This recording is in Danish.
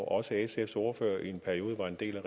også sfs ordfører i en periode var en del